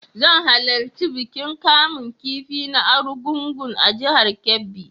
Zan halarci bikin kamun kifi na Argungun a jihar Kebbi.